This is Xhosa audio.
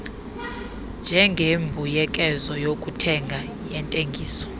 njengembuyekezo yokuthenga yentengiso